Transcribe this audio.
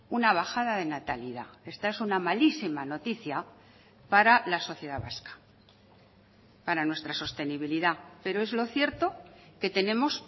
una bajada de natalidad esta es una malísima noticia para la sociedad vasca para nuestra sostenibilidad pero es lo cierto que tenemos